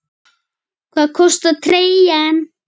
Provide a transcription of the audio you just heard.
Hvað kostar treyjan?